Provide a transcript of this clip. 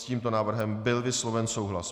S tímto návrhem byl vysloven souhlas.